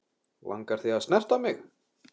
Þig langar að snerta mig.